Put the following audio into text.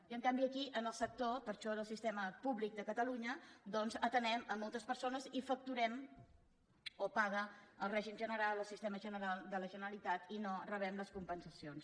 i en canvi aquí en el sector per això del sistema públic de catalunya doncs atenem moltes persones i ho facturem o ho paga el règim general el sistema general de la generalitat i no rebem les compensacions